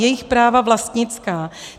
Jejich práva vlastnická.